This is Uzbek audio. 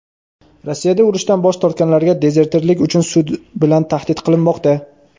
Rossiyada urushdan bosh tortganlarga dezertirlik uchun sud bilan tahdid qilinmoqda.